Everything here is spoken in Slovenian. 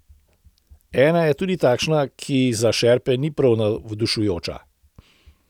Ena je tudi takšna, ki za šerpe ni prav navdušujoča.